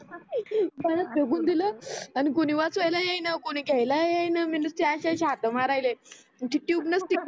पाण्यात फेकून दिल आणि कोणी वाचव्याला येईना कोण घ्याला येईना मी नुसते असि असि हात माऱ्याले आणि ते ट्यूब नसते का